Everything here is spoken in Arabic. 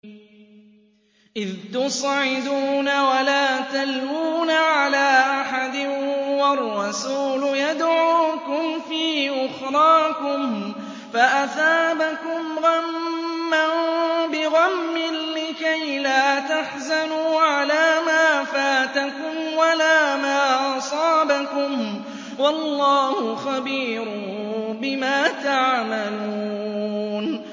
۞ إِذْ تُصْعِدُونَ وَلَا تَلْوُونَ عَلَىٰ أَحَدٍ وَالرَّسُولُ يَدْعُوكُمْ فِي أُخْرَاكُمْ فَأَثَابَكُمْ غَمًّا بِغَمٍّ لِّكَيْلَا تَحْزَنُوا عَلَىٰ مَا فَاتَكُمْ وَلَا مَا أَصَابَكُمْ ۗ وَاللَّهُ خَبِيرٌ بِمَا تَعْمَلُونَ